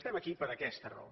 estem aquí per aquesta raó